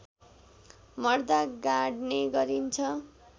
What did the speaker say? मर्दा गाड्ने गरिन्छ